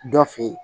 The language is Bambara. Dɔ fe yen